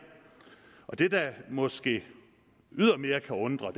det der måske ydermere kan undre